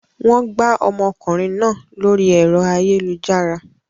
Wọ́n gbá ọmọkùnrin náà lórí ẹ̀rọ ayélujára.